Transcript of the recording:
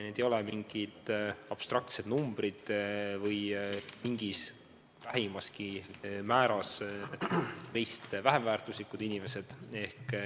Need ei ole mingid abstraktsed numbrid või mingil vähimalgi määral meist vähem väärtuslikud inimesed.